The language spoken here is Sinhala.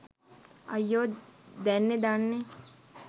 අයියෝ දැන්නේ දන්නේ